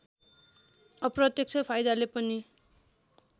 अप्रत्यक्ष फाइदाले पनि